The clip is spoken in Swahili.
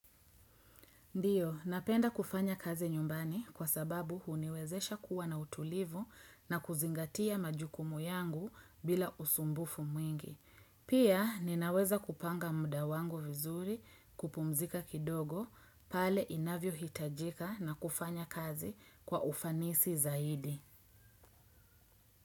Ndiyo, napenda kufanya kazi nyumbani kwa sababu huniwezesha kuwa na utulivu na kuzingatia majukumu yangu bila usumbufu mwingi. Pia, ninaweza kupanga mudawangu vizuri kupumzika kidogo pale inavyo hitajika na kufanya kazi kwa ufanisi zaidi.